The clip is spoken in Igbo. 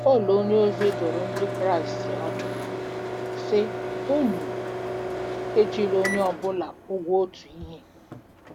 Pọl onyeozi dụrụ Ndị Kraịst ọdụ, sị: “Unu ejila onye ọ bụla ụgwọ otu ihe.”